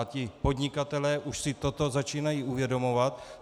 A ti podnikatelé už si toto začínají uvědomovat.